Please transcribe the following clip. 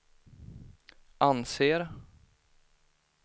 anser